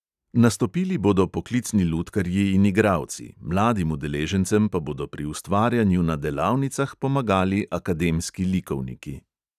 Nastopili bodo poklicni lutkarji in igralci, mladim udeležencem pa bodo pri ustvarjanju na delavnicah pomagali akademski likovniki.